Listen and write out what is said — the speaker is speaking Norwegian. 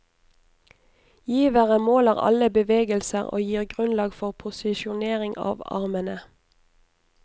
Givere måler alle bevegelser og gir grunnlag for posisjonering av armene.